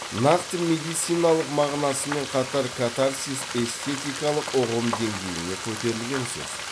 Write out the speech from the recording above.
нақты медициналық мағынасымен қатар катарсис эстетикалық ұғым деңгейіне көтерілген сөз